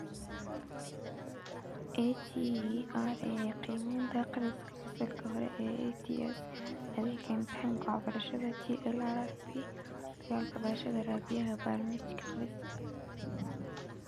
EGRA Qiimaynta Akhriska Fasalka Hore ETS Adeega Imtixaanka Waxbarashada GLRRP dalka ee Barashada Raadiyaha iyo Barnaamijka Akhriska